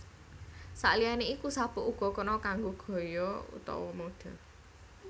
Saliyane iku sabuk uga kena kanggo gaya utawa mode